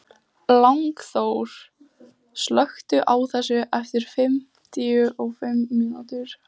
Lyngþór, slökktu á þessu eftir fimmtíu og fimm mínútur.